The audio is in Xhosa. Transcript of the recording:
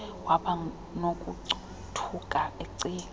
waba nokothuka ecinga